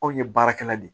Anw ye baarakɛla de ye